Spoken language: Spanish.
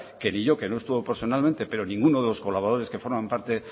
que ni yo que no estuve personalmente pero ninguno de los colaboradores que forman parte